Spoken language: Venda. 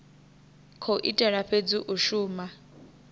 khou itela fhedzi u shuma